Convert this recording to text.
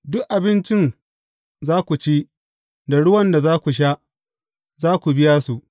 Duk abincin za ku ci, da ruwan da za ku sha, za ku biya su.’